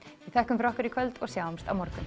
við þökkum fyrir okkur í kvöld og sjáumst á morgun